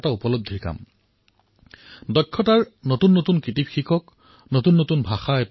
কিবা এটা নতুন শিকক যেনে নতুন নতুন দক্ষতা নতুন নতুন ভাষা শিকক